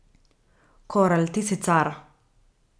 Korel ti si car.